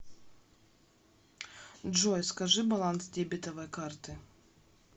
джой скажи баланс дебетовой карты